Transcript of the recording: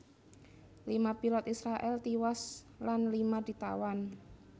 Lima pilot Israèl tiwas lan lima ditawan